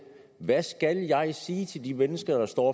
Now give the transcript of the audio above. hvad skal jeg sige til de mennesker der står